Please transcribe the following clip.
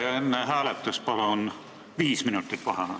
Ja enne hääletust palun viis minutit vaheaega.